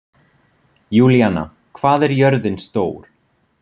Júlíanna, hvað er jörðin stór?